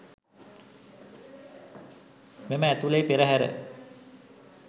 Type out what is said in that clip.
මෙම ඇතුලේ පෙරහර